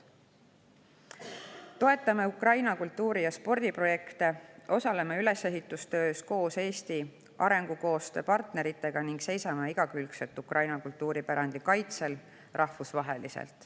Toetame Ukraina kultuuri‑ ja spordiprojekte, osaleme ülesehitustöös koos Eesti arengukoostöö partneritega ning seisame rahvusvaheliselt Ukraina kultuuripärandi igakülgsel kaitsel.